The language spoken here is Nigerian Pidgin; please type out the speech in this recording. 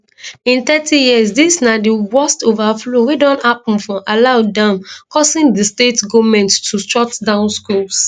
in thirty years dis na di worst overflow wey don happun for alau dam causing di state goment to shut down schools